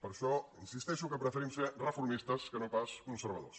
per això insisteixo que preferim ser reformistes que no pas conservadors